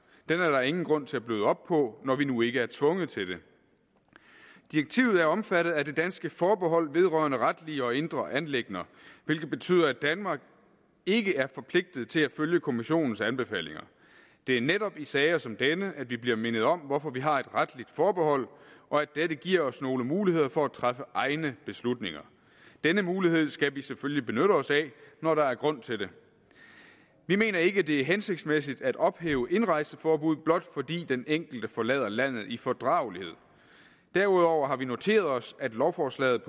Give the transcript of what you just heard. den er der ingen grund til at bløde op på når vi nu ikke er tvunget til det direktivet er omfattet af det danske forbehold vedrørende retlige og indre anliggender hvilket betyder at danmark ikke er forpligtet til at følge kommissionens anbefalinger det er netop i sager som denne at vi bliver mindet om hvorfor vi har et retligt forbehold og at dette giver os nogle muligheder for at træffe egne beslutninger denne mulighed skal vi selvfølgelig benytte os af når der er grund til det vi mener ikke det er hensigtsmæssigt at ophæve indrejseforbuddet blot fordi den enkelte forlader landet i fordragelighed derudover har vi noteret os at lovforslaget